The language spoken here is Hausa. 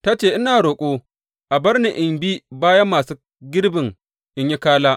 Ta ce, Ina roƙo a bar ni in bi bayan masu girbin in yi kala.’